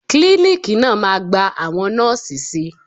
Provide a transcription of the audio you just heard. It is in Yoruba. Klíníkì náà máa gba àwọn Nọ́ọ̀sì si.